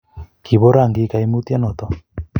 kibo rangik kaimutie noto